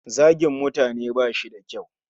Zagin mutane bashi da kyau.